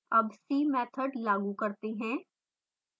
अब see method लागू करते हैं